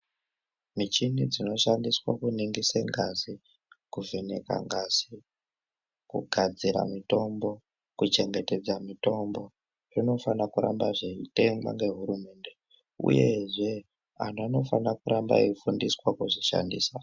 Michini dzinoshandiswa kuningirise ngazi ,kuvheneka ngazi , kugadzira mitombo ,kuchengetedza mitombo, zvinofanirwa kuramba zveitengwa ngehurumente uyezve vantu vanofanira kuramba veifundiswa kuzvishandisa.